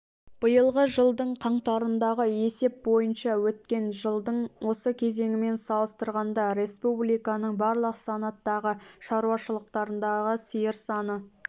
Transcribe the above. биылғы жылдың қаңтарындағы есеп бойынша өткен жылдың осы кезеңімен салыстырғанда республиканың барлық санаттағы шаруашылықтарындағы сиыр саны